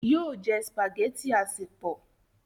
yóò jẹ spaghetti asepọ